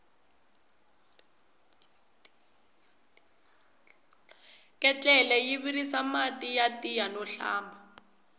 ketlele yi virisa mati ya tiya no hlamba